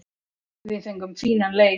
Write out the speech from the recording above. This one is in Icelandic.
Við fengum fínan leik.